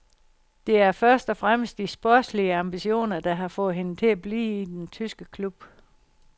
Det er først og fremmest de sportslige ambitioner, der har fået hende til at blive i den tyske klub.